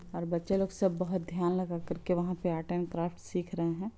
और बच्चे लोग सब बहुत ध्यान लगा कर के वहाँ पे आर्ट एंड क्राफ्ट सिख रहें हैं।